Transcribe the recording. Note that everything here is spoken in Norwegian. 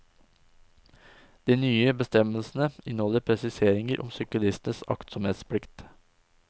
De nye bestemmelsene inneholder presiseringer om syklistenes aktsomhetsplikt.